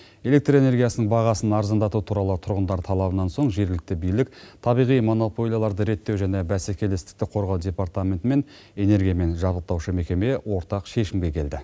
электр энергиясының бағасын арзандату туралы тұрғындар талабынан соң жергілікті билік табиғи монополияларды реттеу және бәсекелестікті қорғау департаменті мен энергиямен жабдықтаушы мекеме ортақ шешімге келді